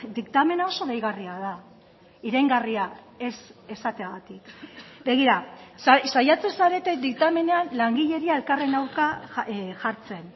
diktamena oso deigarria da iraingarria ez esateagatik begira saiatzen zarete diktamenean langileria elkarren aurka jartzen